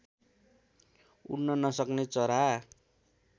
उड्न नसक्ने चरा